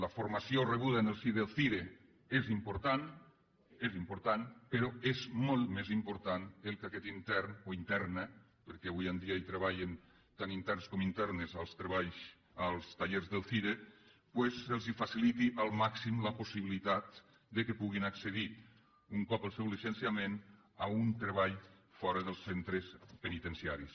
la formació rebuda en el si del cire és important però és molt més important que a aquest intern o interna perquè avui en dia hi treballen tant interns com internes als tallers del cire doncs se li faciliti al màxim la possibilitat que pugui accedir un cop el seu llicenciament a un treball fora dels centres penitenciaris